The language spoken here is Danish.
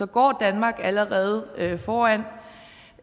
går danmark allerede foran